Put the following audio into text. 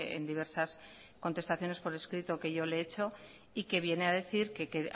en diversas contestaciones por escrito que yo le he hecho y que viene a decir que